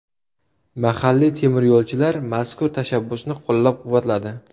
Mahalliy temiryo‘lchilar mazkur tashabbusni qo‘llab-quvvatladi.